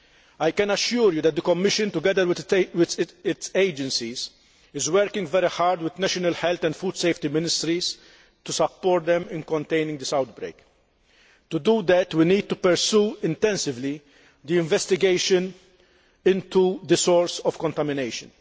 I can assure you that the Commission, together with these agencies, is working very hard with national health and food safety ministries to support them in containing this outbreak. To do that, we need to pursue intensively the investigation into the source of contamination